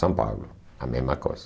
São Paulo, a mesma coisa.